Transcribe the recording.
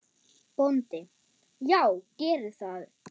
BÓNDI: Já, gerið það.